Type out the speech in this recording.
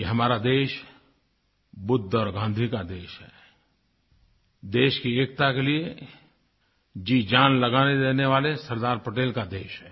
ये हमारा देश बुद्ध और गांधी का देश है देश की एकता के लिए जीजान लगा देने वाले सरदार पटेल का देश है